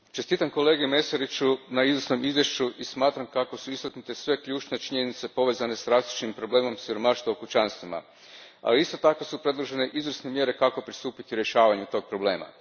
Gospodine predsjedniče, čestitam kolegi Mesariću na izvrsnom izvješću i smatram kako su istaknute sve ključne činjenice povezane s rastućim problemom siromaštva u kućanstvima. Isto tako su predložene izvrsne mjere kako pristupiti rješavanju tog problema.